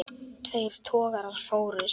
Tveir togarar fórust.